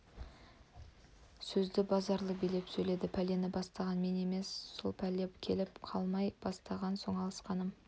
сөзді базаралы билеп сөйледі пәлені бастаған мен емес ал сол пәле келіп жалмай бастаған соң алысқаным